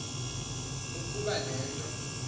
ukoba le nto